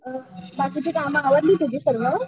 बाकीची काम आवरली तुझी सर्व?